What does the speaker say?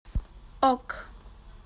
ок